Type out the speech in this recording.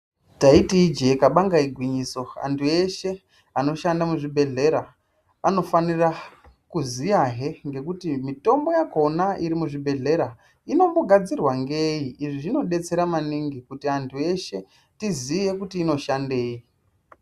Taiti ijee kabanga igwinyiso antu eshe anoshanda muzvibhedhlera anofanira kuziyahe ngekuti mitombo yakona iri muzvibhedhlera inombogadzirwa ngei. Izvi zvinobetsera maningi kuti antu eshe tiziye kuti inoshandei.